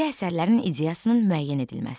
Bədii əsərlərin ideyasının müəyyən edilməsi.